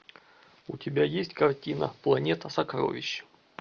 у тебя есть картина планета сокровищ